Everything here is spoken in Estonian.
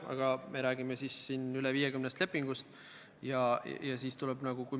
Seda me oleme teoorias hoolega juurutada püüdnud, aga praktikas kipume eirama.